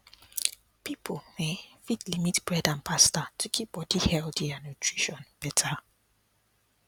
people um fit limit bread and pasta to keep body healthy and nutrition better